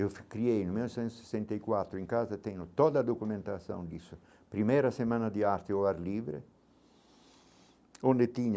Eu criei em mil novecentos e sessenta e quatro, em casa tenho toda a documentação disso, primeira semana de arte ao ar livre, onde tinha